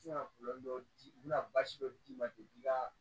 dɔw di u bɛna baasi dɔ d'i ma ten i ka